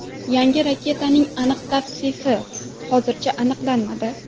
Yangi raketaning aniq tavsifi hozircha aniqlanmadi.